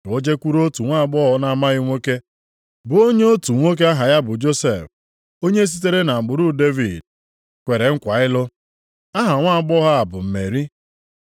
Ka o jekwuru otu nwaagbọghọ na-amaghị nwoke bụ onye otu nwoke aha ya bụ Josef, onye sitere nʼagbụrụ Devid, kwere nkwa ịlụ. Aha nwaagbọghọ a bụ Meri.